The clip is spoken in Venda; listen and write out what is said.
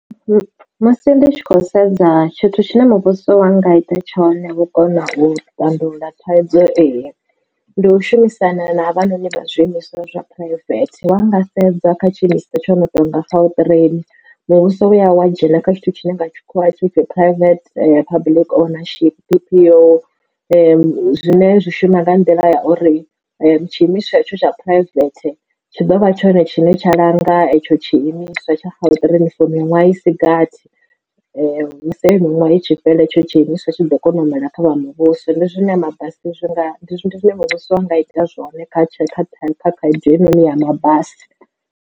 Musi ndi tshi khou sedza tshithu tshine muvhuso wa nga ita tshone u kona u tandulula thaidzo ei, ndi u shumisana na vha noni vha zwiimiswa zwa private wa nga sedza kha tshiimiswa tsho no tou nga gautrain muvhuso u wa ya wa dzhena kha tshithu tshine nga tshikhuwa tshi pfhi private public ownership. Zwi zwine zwi shuma nga nḓila ya uri tshiimiswa itsho tsha private tshi ḓo vha tshone tshine tsha langa hetsho tshiimiswa tsha gautrain for miṅwahani isi gathi musi eyo miṅwaha i tshi fhela hetsho tshiimiswa tshi ḓo kona u humela kha vha muvhuso. Ndi zwine a mabasi zwi nga ndi zwine muvhuso wanga ita zwone kha khaedu eyi ya mabasi.